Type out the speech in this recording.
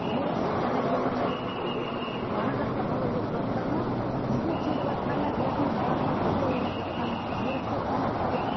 иә еріксіз жаңағы екінші ана жақта бала өсіватқаны үйге келіватқаны өзінің баласымен бірге ойнап жатқаны еріксіз тамақ береді